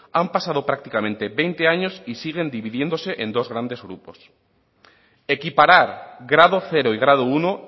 han pasado prácticamente veinte años y siguen dividiéndose en dos grandes grupos equiparar grado cero y grado uno